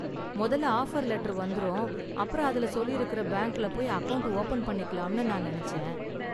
முதல்ல offer letter வந்துரும், அப்பறம் அதுல சொல்லியிருக்குற பேங்க்ல போய் அக்கவுண்ட் ஓபன் பண்ணிக்கலாம்னு நான் நினைச்சேன்.